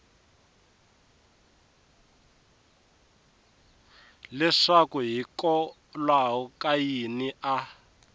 leswaku hikokwalaho ka yini a